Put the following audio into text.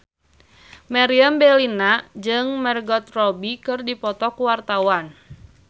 Meriam Bellina jeung Margot Robbie keur dipoto ku wartawan